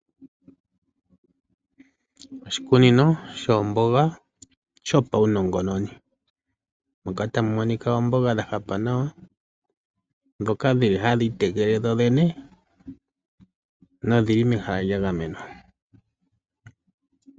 Oshikunino shoomboga shopawunongononi moka tamu monika oomboga dhahapa nawa, ndhoka hadhi itekele dhodhene nodhili mehala lyagamenwa.